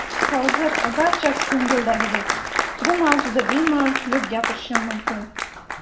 Hozir barchasi ko‘ngildagidek, bu mavzuda bemalol kulib gapirishim mumkin.